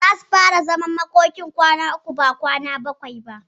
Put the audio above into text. Zasu fara zaman makokin kwana uku ba kwana bakwai ba.